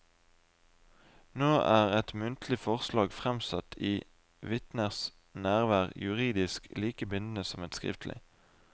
Nå er et muntlig forslag fremsatt i vitners nærvær juridisk like bindende som et skriftlig.